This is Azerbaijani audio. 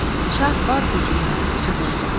Şah var gücüylə çığırdı.